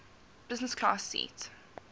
business class seat